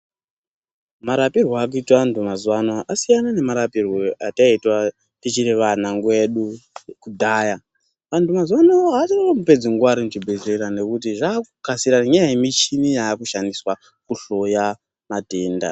Marapirwe aakuitwa anthu mazuwa anaya asiyana nemarapirwe ataiitwa, tichiri vana, nguwa yedu kudhaya. Vanthu mazuwaano aachanyanyi kupedze nguwa ari muchibhedhlera nekuti zvaakukasira nenyaya yemishini yaakushandiswa kuhloya matenda.